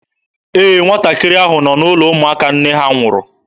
Ee, nwatakịrị ahụ nọ n'ụlọ ụmụaka nne ha nwụrụ.